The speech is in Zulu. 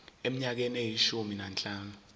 eminyakeni eyishumi nanhlanu